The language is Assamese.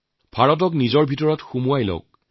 এক ভাৰত শ্ৰেষ্ঠ ভাৰতৰ সপোনৰ মাজত নিহিত আছে